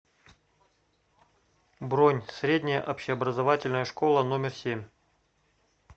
бронь средняя общеобразовательная школа номер семь